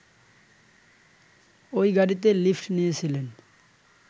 ওই গাড়িতে লিফট নিয়েছিলেন